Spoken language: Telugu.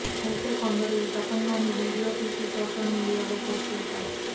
అయితే కొందరు ఈ తతంగాన్ని వీడియో తీసి సోషల్ మీడియా లో పోస్ట్ చేశారు